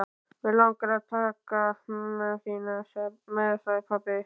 Mig langar til að taka mömmu þína með sagði pabbi.